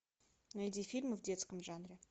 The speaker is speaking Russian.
найди фильмы в детском жанре